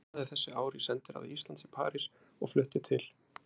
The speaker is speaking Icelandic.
Ég starfaði þessi ár í sendiráði Íslands í París og flutti til